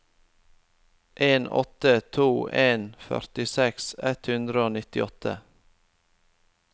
en åtte to en førtiseks ett hundre og nittiåtte